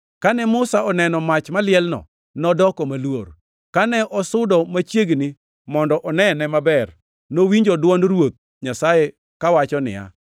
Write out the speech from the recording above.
Kane Musa oneno mach malielno, nodoko maluor. Kane osudo machiegni mondo onene maber, nowinjo dwond Ruoth Nyasaye kawacho niya,